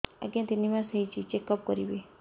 ଆଜ୍ଞା ତିନି ମାସ ହେଇଛି ଚେକ ଅପ କରିବି